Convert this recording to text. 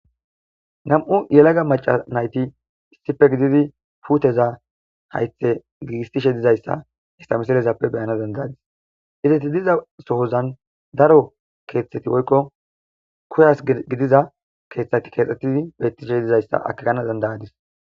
nam7u yelaga maca nayti sipe gididi puuteza haythe gigistishe dizayssa haysa misalezappe beyana dandayadis izeyti diza sohozan daro keeththeti woykko kuyas gidiza keeththeti keexxetidi beettishe dizayssa akegana dandayadis